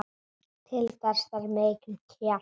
Til þess þarf mikinn kjark.